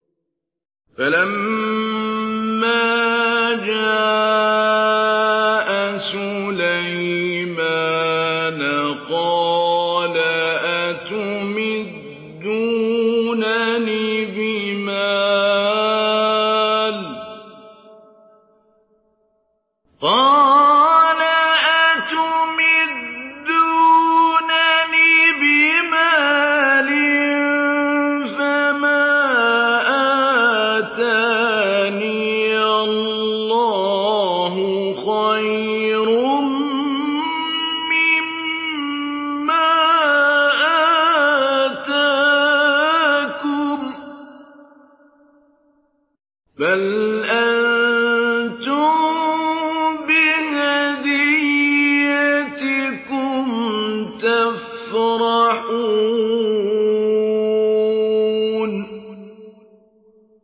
فَلَمَّا جَاءَ سُلَيْمَانَ قَالَ أَتُمِدُّونَنِ بِمَالٍ فَمَا آتَانِيَ اللَّهُ خَيْرٌ مِّمَّا آتَاكُم بَلْ أَنتُم بِهَدِيَّتِكُمْ تَفْرَحُونَ